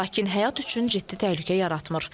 Lakin həyat üçün ciddi təhlükə yaratmır.